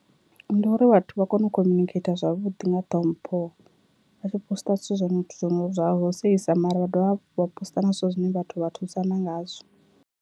Ndi uri vhathu vha kone u communicator zwavhuḓi nga ṱhompho atshi posiṱa zwithu zwono zwo zwa u seisa mara vha dovha vha posiṱa na zwithu zwine vhathu vha thusana ngazwo.